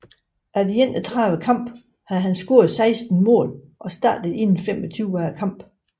Efter 31 kampe havde han scoret 16 mål og startet inde 25 af kampene